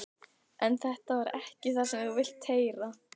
En þetta er ekki það sem þú vilt heyra.